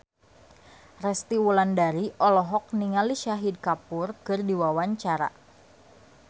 Resty Wulandari olohok ningali Shahid Kapoor keur diwawancara